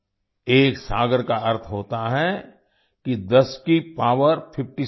एक सागर का अर्थ होता है कि 10 की पॉवर 57